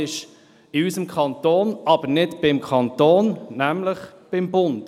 In unserem Kanton liegen diese nicht beim Kanton, sondern beim Bund.